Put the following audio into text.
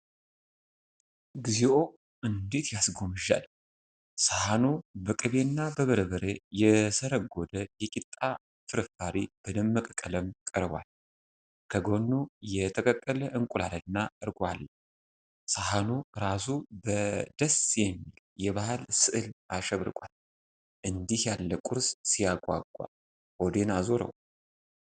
እግዚኦ! እንዴት ያስጎመዣል! ሳህኑ በቅቤና በበርበሬ የሰርጎደ የቂጣ ፍርፋሪ በደመቀ ቀለም ቀርቧል። ከጎኑ የተቀቀለ እንቁላልና እርጎ አለ። ሳህኑ ራሱ በደስ የሚል የባህል ስዕል አሸብርቋል። እንዲህ ያለ ቁርስ ሲያጓጓ! ሆዴን አዞረው!